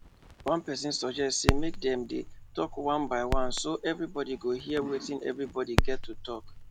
one person suggest say make dem dey talk one by one so everybody go hear wetin everybody get to talk